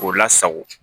K'o lasago